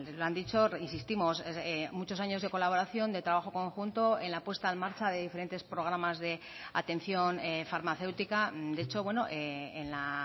lo han dicho insistimos muchos años de colaboración de trabajo conjunto en la puesta en marcha de diferentes programas de atención farmacéutica de hecho en la